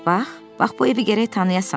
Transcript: Bax, bax bu evi gərək tanıyasan.